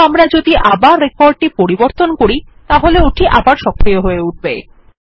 কিন্তু আমরা যদি আবার রেকর্ড টি পরিবর্তন করি তাহলে ওটি আবার সক্রিয় হয়ে উঠবে